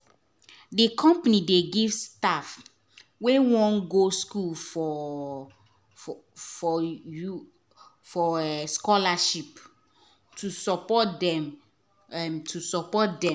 di company dey give staff wey wan go school for for for um scholarship to support them to support them.